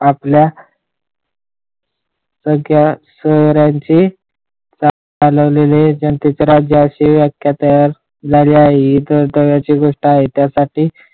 आपल्या सगळ्या शहरांची चालवलेले जनतेचे राज्य असे विचार कारण्याकरीची गोष्ट आहे त्या साठी.